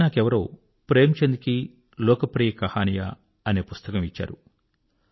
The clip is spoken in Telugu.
ఈమధ్య నాకెవరో ప్రేమ్ చంద్ కీ లోక్ ప్రియ కహానియా అనే పుస్తకం ఇచ్చారు